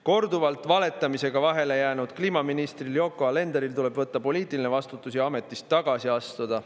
Korduvalt valetamisega vahele jäänud kliimaministril Yoko Alenderil tuleb võtta poliitiline vastutus ja ametist tagasi astuda.